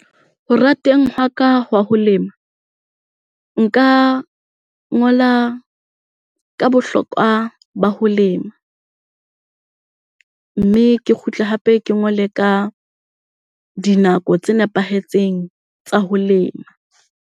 Ho rateng hwa ka hwa ho lema, nka ngola ka bohlokwa ba ho lema mme ke kgutle hape ke ngole ka dinako tse nepahetseng tsa ho lema.